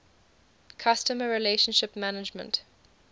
customer relationship management